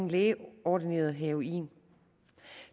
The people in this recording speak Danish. lægeordineret heroin